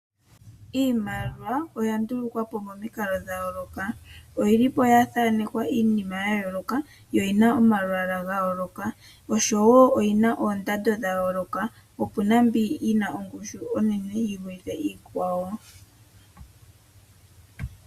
Iimaliwa oya ndulukwapo momikalo dhayooloka. Oyili po ya thaanekwa iinima ya yooloka, yo oyina omalwaala gayooloka, oshowo oondando dhayooloka. Opuna mbi yina ongushu yinene yivule iikwawo.